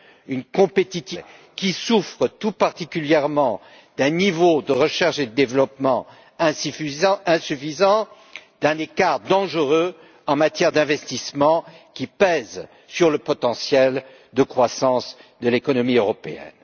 une compétitivité globale qui souffre tout particulièrement d'un niveau de recherche et de développement insuffisant et un écart dangereux en matière d'investissement qui pèse sur le potentiel de croissance de l'économie européenne.